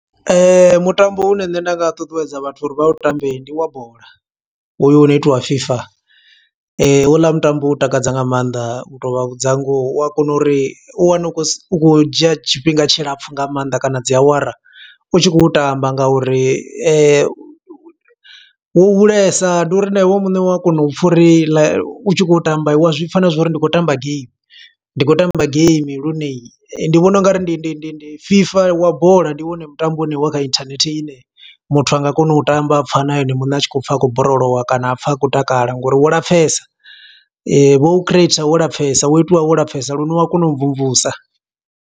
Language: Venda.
Mutambo une nṋe nda nga ṱuṱuwedza vhathu uri vha u tambe ndi wa bola, hoyu wo no itiwa FIFA. Ho u ḽa mutambo u takadza nga maanḓa, u to vha vhudza ngoho. U a kona uri u wane u khou u dzhia tshifhinga tshilapfu nga maanḓa kana, dzi awara. U tshi khou tamba nga uri wo hulesa, ndi uri na iwe muṋe wa kona u pfa uri like, u tshi khou tamba, wa zwi pfa na zwa uri ndi khou tamba game. Ndi khou tamba game lune. Ndi vhona ungari ndi ndi ndi ndi FIFA wa bola, ndi wone mutambo une wa kha inthanethe ine, muthu anga kona u tamba, a pfa na ene muṋe a tshi khou pfa a khou borolowa kana a pfa a khou takala. Ngo uri wo lapfesa, vho u creator wo lapfesa, wo itiwa wo lapfesa. Lune u wa kona u mvumvusa.